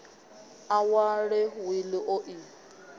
a wale wili o i